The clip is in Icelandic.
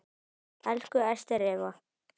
Elsku Ester Eva.